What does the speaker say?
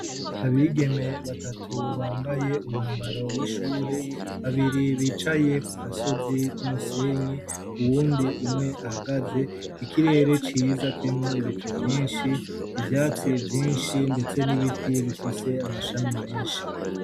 Abigeme batatu bambaye umwambaro w'ishure, babiri bicaye ku gasozi k'umusenyi, uwundi umwe ahagaze, ikirere ciza kirimwo ibicu vyinshi, ivyatsi vyinshi ndetse n'ibiti bifise amashami menshi.